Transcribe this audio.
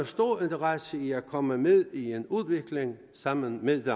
stor interesse i at komme med i en udvikling sammen med